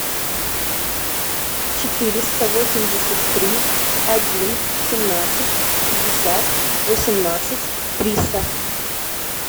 четыреста восемьдесят три один семнадцать пятьдесят восемнадцать триста